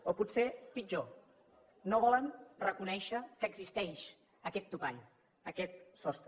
o potser pitjor no volen reconèixer que existeix aquest topall aquest sostre